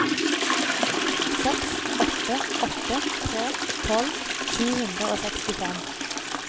seks åtte åtte tre tolv sju hundre og sekstifem